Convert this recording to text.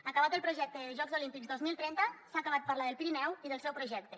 acabat el projecte de jocs olímpics dos mil trenta s’ha acabat parlar del pirineu i del seu projecte